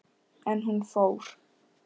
En hún fór.